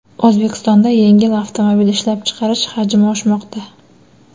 O‘zbekistonda yengil avtomobil ishlab chiqarish hajmi oshmoqda.